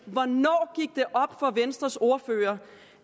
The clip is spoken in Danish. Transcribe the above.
hvornår gik det op for venstres ordfører